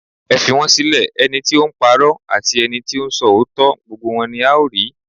Ẹ fi wọn sílẹ̀, àti ẹnití ó ńpa'rọ́, àti ẹnití ó ń sọ òótọ́, gbogbo rẹ́ ni a ó rí.